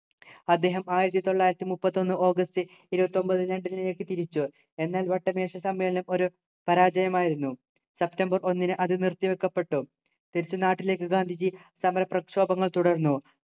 അദ്ദേഹം ആയിരത്തിതൊള്ളായിരത്തിമുപ്പത്തിയൊന്നു ഓഗസ്റ്റ് ഇരുപത്തി ഒമ്പതിനു ഡൽഹിലേക്ക് തിരിച്ചു എന്നാൽ വട്ടമേശ സമ്മേളനം ഒരു പരാജയമായിരുന്നു സെപ്റ്റംബർ ഒന്നിന് അത് നിർത്തിവെക്കപ്പെട്ടു തിരിച്ചു നാട്ടിലേക്ക് ഗാന്ധിജി സമര പ്രക്ഷോഭങ്ങൾ തുടർന്നു